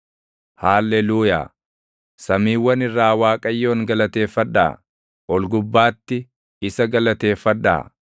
Haalleluuyaa. Samiiwwan irraa Waaqayyoon galateeffadhaa; ol gubbaatti isa galateeffadhaa.